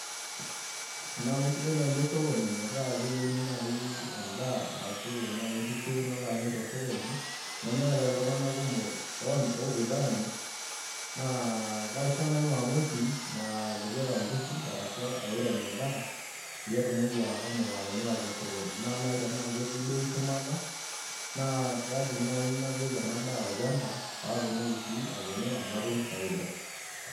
Tenaa kisidai naaji osokoni metaa keyieuni naaji edaa, ashu nkishu nalo amir tosokoni nemeeta iltunganak kumok oopoito Aamir, naa kaisho naaji maamusi, matipila nkishu. ashu airem edaa. peyie atumoki ashomo atimira tosokoni. naa naaji tenaa, ketii bei shumata naa kaidim naaji napik ena daa olchampa, pee atumoki atimira. natum faida